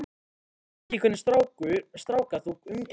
Ég veit ekki hvernig stráka þú umgengst.